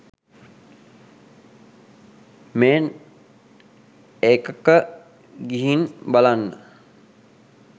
මේන් එකක ගිහින් බලන්න